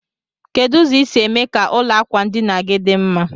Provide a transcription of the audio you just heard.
Kedu ụzọ isi eme ka ụlọ akwa ndinagi di mma?